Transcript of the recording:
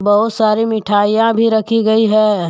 बहुत सारी मिठाइयां भी रखी गई है।